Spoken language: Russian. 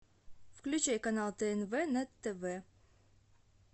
включай канал тнв на тв